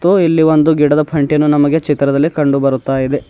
ಮತ್ತು ಇಲ್ಲಿ ಒಂದು ಗಿಡದ ಪಂಟಿಯನ್ನು ನಮಗೆ ಚಿತ್ರದಲ್ಲಿ ಕಂಡುಬರುತ್ತಾ ಇದೆ.